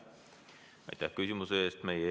Aitäh küsimuse eest!